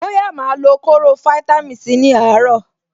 Bóyá màá lo kóró fáítámì Sí ní àárọ̀.